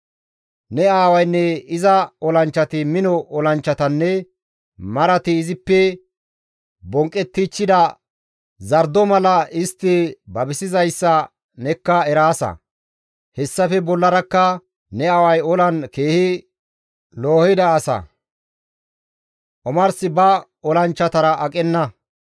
Ne aawaynne iza olanchchati mino olanchchatanne marati izippe bonqqettichchida zardo mala istti babisizayssa nekka eraasa; hessafe bollarakka ne aaway olan keehi loohida asa; omars ba olanchchatara aqenna;